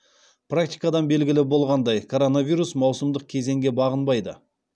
практикадан белгілі болғандай коронавирус маусымдық кезеңге бағынбайды